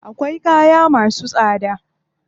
Akwai kaya masu tsada.